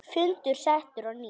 Fundur settur á ný.